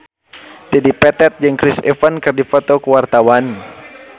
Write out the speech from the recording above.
Dedi Petet jeung Chris Evans keur dipoto ku wartawan